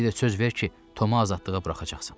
Bir də söz ver ki, Tomu azadlığa buraxacaqsan.